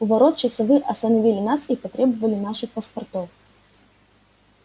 у ворот часовые остановили нас и потребовали наших паспортов